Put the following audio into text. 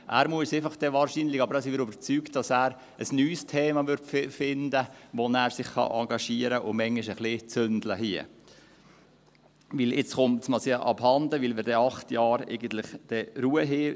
Er muss dann wahrscheinlich einfach – davon sind wir überzeugt – ein neues Thema finden, bei dem er sich engagieren und hier manchmal ein wenig «zünte» kann, weil es ihm jetzt abhandenkommt, weil wir dann eigentlich während acht Jahren Ruhe haben.